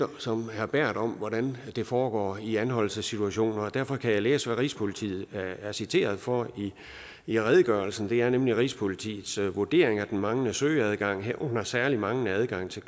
som herre berth om hvordan det foregår i anholdelsessituationer og derfor kan jeg læse hvad rigspolitiet er citeret for i redegørelsen det er nemlig rigspolitiets vurdering at den manglende søgeadgang herunder særlig manglende adgang til